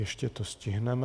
Ještě to stihneme.